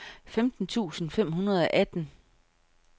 femten tusind fem hundrede og atten